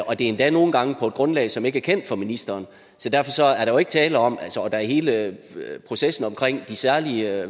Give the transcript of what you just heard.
og det er endda nogle gange på et grundlag som ikke er kendt for ministeren så er der hele processen om de særlige